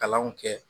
Kalanw kɛ